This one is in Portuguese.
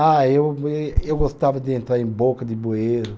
Ah, ê eu gostava de entrar em boca de bueiro.